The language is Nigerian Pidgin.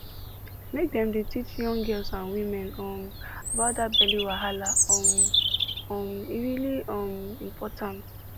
make dem dey teach young girls and women um about that belly wahala um um e really um important